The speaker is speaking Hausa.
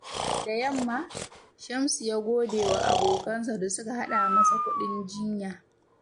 Da yamma, Shamsu ya gode wa abokansa da suka haɗa masa kuɗin jinya.